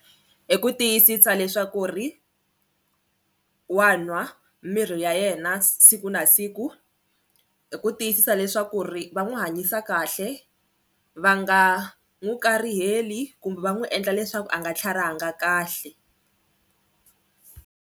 I ku tiyisisa leswaku ri wa nwa mirhi ya yena siku na siku hi ku tiyisisa leswaku ri va n'wi hanyisa kahle va nga n'wi kariheli kumbe va n'wi endla leswaku a nga tlharihanga kahle.